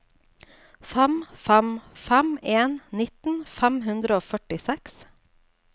fem fem fem en nitten fem hundre og førtiseks